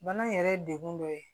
Bana yɛrɛ ye degun dɔ ye